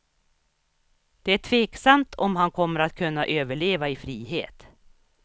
Det är tveksamt om han kommer att kunna överleva i frihet.